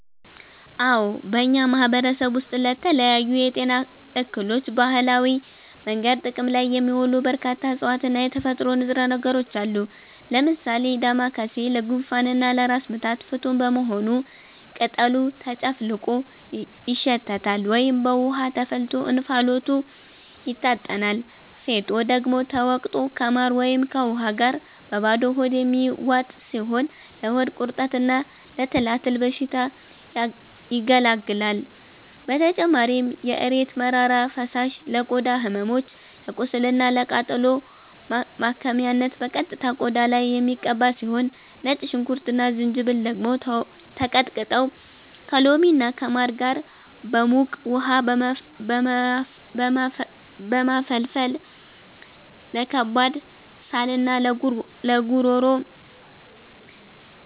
አዎ፣ በእኛ ማህበረሰብ ውስጥ ለተለያዩ የጤና እክሎች በባህላዊ መንገድ ጥቅም ላይ የሚውሉ በርካታ እፅዋትና የተፈጥሮ ንጥረ ነገሮች አሉ። ለምሳሌ ዳማከሴ ለጉንፋንና ለራስ ምታት ፍቱን በመሆኑ ቅጠሉ ተጨፍልቆ ይሸተታል ወይም በውሃ ተፈልቶ እንፋሎቱ ይታጠናል፤ ፌጦ ደግሞ ተወቅጦ ከማር ወይም ከውሃ ጋር በባዶ ሆድ የሚዋጥ ሲሆን ለሆድ ቁርጠትና ለትላትል በሽታ ያገለግላል። በተጨማሪም የእሬት መራራ ፈሳሽ ለቆዳ ህመሞች፣ ለቁስልና ለቃጠሎ ማከሚያነት በቀጥታ ቆዳ ላይ የሚቀባ ሲሆን፣ ነጭ ሽንኩርትና ዝንጅብል ደግሞ ተቀጥቅጠው ከሎሚና ከማር ጋር በሙቅ ውሃ በመፈልፈል ለከባድ ሳልና ለጉሮሮ